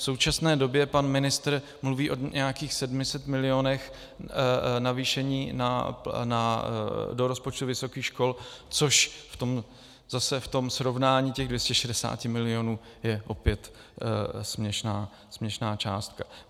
V současné době pan ministr mluví o nějakých 700 milionech navýšení do rozpočtu vysokých škol, což zase v tom srovnání těch 260 milionů je opět směšná částka.